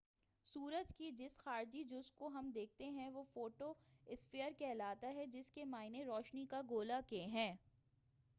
سورج کے جس خارجی جزو کو ہم دیکھتے ہیں وہ فوٹو اسفیئر کہلاتا ہے جس کے معنی روشنی کا گولہ کے ہیں